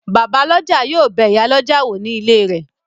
Bàbálọ́jà yóò bẹ ìyálọ́jà wò ní ilé rẹ̀